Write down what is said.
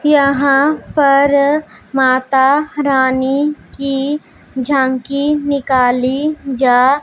यहां पर माता रानी की झांकी निकाली जा--